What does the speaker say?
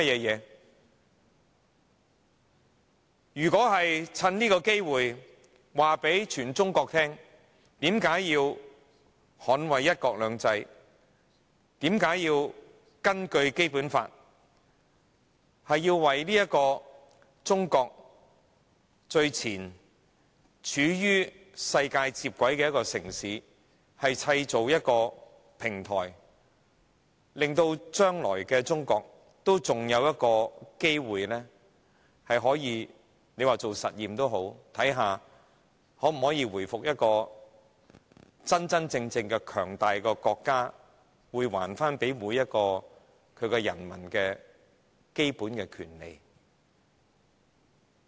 如果是想趁機向全中國宣示為何要捍衞"一國兩制"，便須根據《基本法》為走在中國最前、處於世界接軌處的城市製造平台，令未來的中國還有機會——即使是做實驗也好——看看能否藉此回復一個真正強大國家的面貌，還給人民最基本的權利。